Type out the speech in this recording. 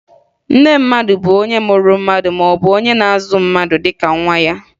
Nne mmadụ bụ onye mụrụ mmadụ maọbụ onye na-azụ mmadụ dịka nwa ya